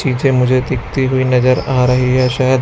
शीशे मुझे दिखती हुई नजर आ रही है शायद।